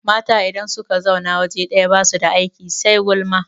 Mata idan suka zauna waje ɗaya basu da aiki sai gulma